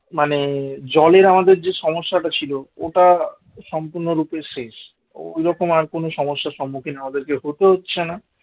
মানে জলের আমাদের যে সমস্যাটা ছিল ওটা সম্পূর্ণরূপে শেষ ঐরকম আর কোন সমস্যার সম্মুখীন আমাদেরকে হতেও হচ্ছে না